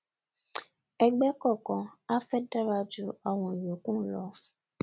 ẹgbẹ kọọkan a fẹ dárà jú àwọn ìyókù lọ